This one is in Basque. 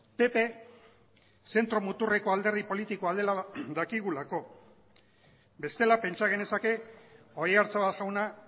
pp zentro muturreko alderdi politikoa dela dakigulako bestela pentsa genezake oyarzabal jauna